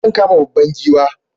Zan kama babban giwa